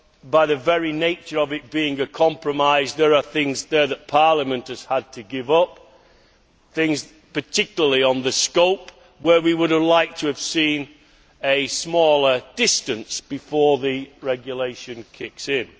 By the very nature of it being a compromise, there are things there that Parliament has had to give up, particularly on the scope, where we would have liked to have seen a smaller distance before the regulation kicks in.